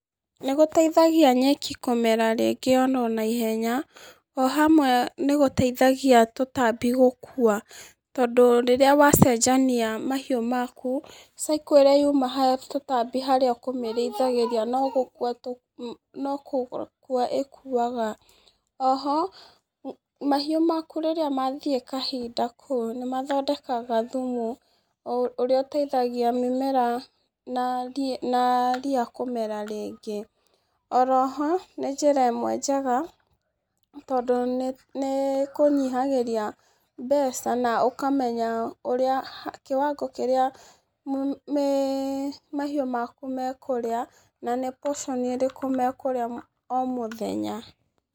Nĩ gũteithagia nyeki kũmera rĩngĩ oro na ihenya, o hamwe nĩ gũteithagia tũtambi gũkua. Tondũ rĩrĩa wacenjania mahiũ maku, cycle ĩrĩa yuma ha tũtambi harĩa ũkĩmĩrĩithagĩria no gũkua ĩkuaga. Oho, mahiu maku rĩrĩa mathiĩ kahinda kũu nĩ mathondekaga thumu ũrĩa ũteithagia mĩmera na riia kũmera rĩngĩ. Oro ho, nĩ njĩra ĩmwe njega tondũ nĩ ĩkũnyihagĩria mbeca na ũkamenya ũrĩa kĩwango kĩrĩa mahiũ maku mekũrĩa, na nĩ potion ĩrĩkũ mekũrĩa o muthenya.